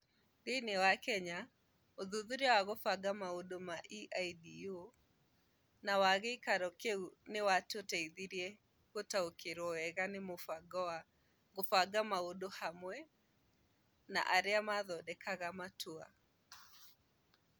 Thĩinĩ wa Kenya, ũthuthuria wa kũbanga maũndũ wa EIDU na wa gĩikaro kĩu nĩ watũteithirie gũtaũkĩrũo wega nĩ mũbango wa "kũbanga maũndũ hamwe na arĩa mathondekaga matua" hamwe na arĩa mathondekaga matua.